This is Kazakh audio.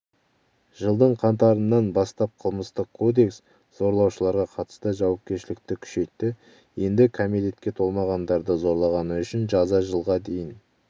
жылдың қаңтарынан бастапқылмыстық кодекс зорлаушыларға қатысты жауапкершілікті күшейтті енді кәмелетке толмағандарды зорлағаны үшін жаза жылға дейін